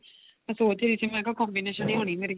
ਸੋਚ ਰਹੀ ਸੀ ਮੈਂ ਮੈਂ ਕਿਹਾ combination ਹੀ ਹੋਣੀ ਮੇਰੀ